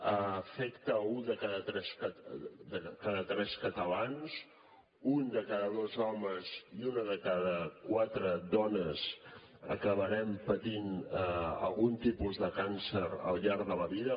afecta un de cada tres catalans un de cada dos homes i una de cada quatre dones acabarem patint algun tipus de càncer al llarg de la vida